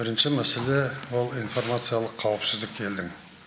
бірінші мәселе ол информациялық қауіпсіздік елдің